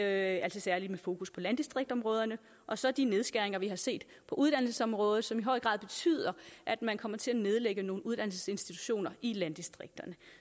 altså særlig med fokus på landdistriktsområderne og så de nedskæringer vi har set på uddannelsesområdet som i høj grad betyder at man kommer til at nedlægge nogle uddannelsesinstitutioner i landdistrikterne